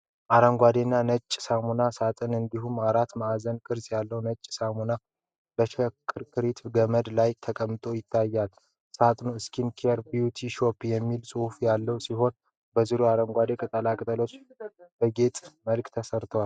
አረንጓዴና ነጭ ሳሙና ሳጥን እንዲሁም አራት ማዕዘን ቅርጽ ያለው ነጭ ሳሙና በሽክርክሪት ገመድ ላይ ተቀምጠው ይታያሉ። ሳጥኑ "SKIN CARE BEAUTY SOAP" የሚል ጽሑፍ ያለው ሲሆን፣ በዙሪያው አረንጓዴ ቅጠላቅጠል በጌጥ መልክ ተሰርቷል።